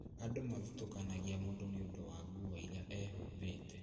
Andu mathutũkanagia mũndũ niũndũ wa nguo iria ehumbĩte